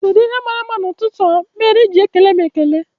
kedụ ihe màrà mma n'ututu a mere iji ekele m ekele?